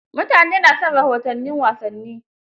mutane na son rahoton wasanni